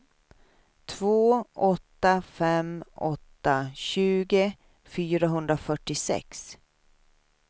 två åtta fem åtta tjugo fyrahundrafyrtiosex